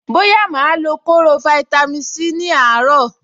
Bóyá màá lo kóró fáítámì Sí ní àárọ̀.